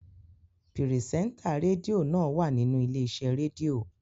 Pirisenta redio naa wa ninu ile-ise redio